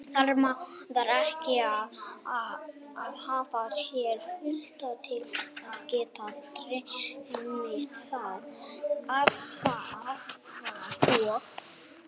Þarf maður ekki að hafa séð hlutina til að geta dreymt þá?